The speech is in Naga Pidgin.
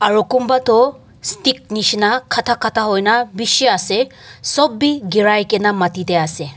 aru kumba toh stick nishi na khata khata ho na bishi ase sop bi girai kene mati te ase.